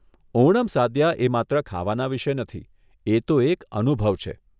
ઓણમ સાદ્યા એ માત્ર ખાવાના વિષે નથી, એ તો એક અનુભવ છે.